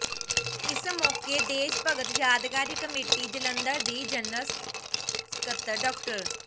ਇਸ ਮੌਕੇ ਦੇਸ਼ ਭਗਤ ਯਾਦਗਾਰੀ ਕਮੇਟੀ ਜਲੰਧਰ ਦੀ ਜਨਰਲ ਸਕੱਤਰ ਡਾ